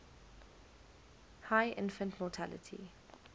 high infant mortality